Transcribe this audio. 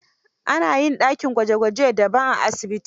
Ana yin dakin gwaje gwaje daban a asibiti.